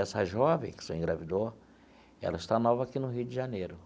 Essa jovem que o senhor engravidou, ela está nova aqui no Rio de Janeiro.